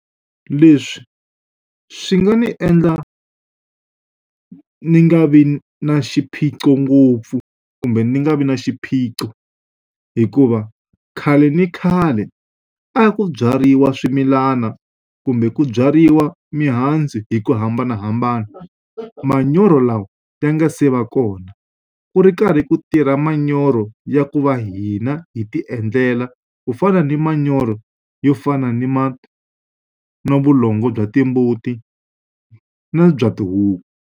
Leswi swi nga ni endla ni nga vi na xiphiqo ngopfu, kumbe ndzi nga vi na xiphiqo. Hikuva khale ni khale a hi ku byariwa swimilana kumbe ku byariwa mihandzu hi ku hambanahambana, manyoro lawa ya nga se va kona. Ku ri karhi ku tirha ma manyoro ya ku va hina hi ti endlela, ku fana ni manyoro yo fana ni na vulongo bya timbuti na bya tihuku.